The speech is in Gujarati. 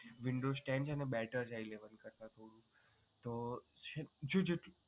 windows ten છે એ windows eleven કરતાં તો શું છે ને